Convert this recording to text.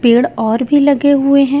पेड़ और भी लगे हुए हैं।